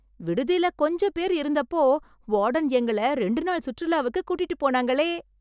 விடுதில கொஞ்சப் பேர் இருந்தப்போ, வார்டன் எங்கள ரெண்டு நாள் சுற்றுலாவுக்கு கூட்டிட்டுப் போனாங்களே...